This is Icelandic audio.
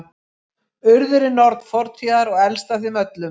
Urður er norn fortíðar og elst af þeim öllum.